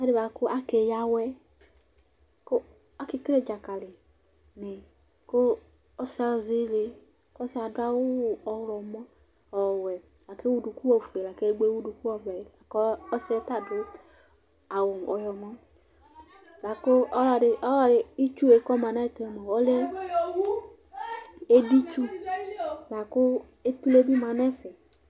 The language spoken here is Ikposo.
Ɛfʋedɩ bʋakʋ akeyǝ awɛ, kʋ akekele dzakali nɩ, kʋ ɔsɩ azɛ ile, ɔsɩ yɛ adʋ awu ɔɣlɔmɔ, ɔwɛ Ewu unuku ofue, laku edigbo ewu unuku ɔvɛ, kʋ ɔsɩ yɛ ta adʋ awu ɔyɔmɔ Lakʋ itsu yɛ kʋ ɔma nʋ ɛfɛ ɔlɛ editsu, kʋ etule bɩ ma nʋ ɛfɛ lakʋ akeyǝ awɛ